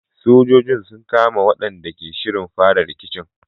Sojojin sun kama waɗanda ke shirin fara rikicin.